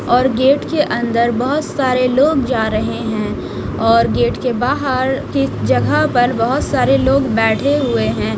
और गेट के अंदर बहोत सारे लोग जा रहे हैं और गेट के बाहर किस जगह पर बहोत सारे लोग बैठे हुए हैं।